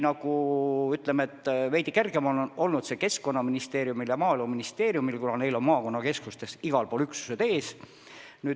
Veidi kergem on see olnud Keskkonnaministeeriumil ja Maaeluministeeriumil, kuna neil on maakonnakeskustes üksused ees.